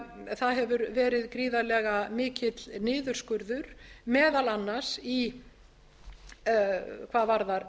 það hefur verið gríðarlega mikill niðurskurður meðal annars hvað varðar